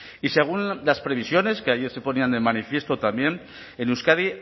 y según las previsiones que ayer se ponían de manifiesto también en euskadi